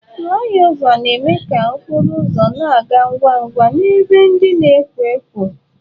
Flị ọva na-eme ka okporo ụzọ na-aga ngwa ngwa n'ebe ndị na-ekwo ekwo.